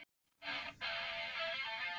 Við tökum ákvarðanir sem reynast misvel.